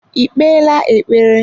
I kpeela ekpere?